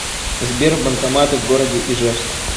сбер банкоматы в городе ижевск